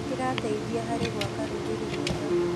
Kĩrateithia harĩ gwaka rũrĩrĩ rwega.